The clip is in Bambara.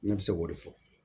Ne bɛ se k'o de fɔ